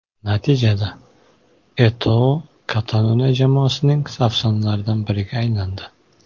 Natijada, Eto‘O Kataloniya jamoasining afsonalaridan biriga aylandi.